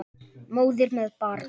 Móðir með barn.